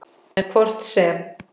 En hvort sem